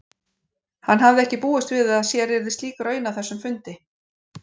Hann hafði ekki búist við að sér yrði slík raun að þessum fundi.